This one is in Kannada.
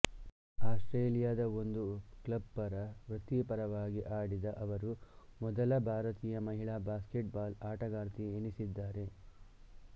ಆಸ್ಟ್ರೇಲಿಯದ ಒಂದು ಕ್ಲಬ್ ಪರ ವೃತ್ತಿಪರವಾಗಿ ಆಡಿದ ಅವರು ಮೊದಲ ಭಾರತೀಯ ಮಹಿಳಾ ಬ್ಯಾಸ್ಕೆಟ್ ಬಾಲ್ ಆಟಗಾರ್ತಿ ಎನಿಸಿದ್ದಾರೆ